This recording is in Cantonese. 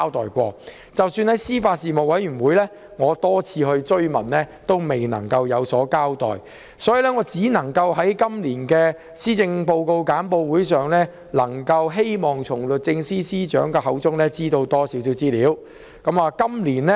即使我在司法及法律事務委員會會議上多次追問，政府亦未有交代，我於是唯有寄望能在今年的施政報告簡報會上從律政司司長口中得悉更多資料。